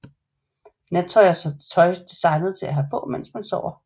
Nattøj er tøj som er designet til at have på mens man sover